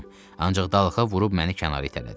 Ancaq dalğaya vurub məni kənara itələdi.